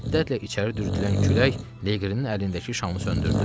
Şiddətlə içəri dürtdülən külək Leqrinin əlindəki şamı söndürdü.